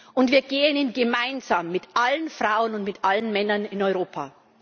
Und wir gehen ihn gemeinsam, mit allen Frauen und mit allen Männern in Europa.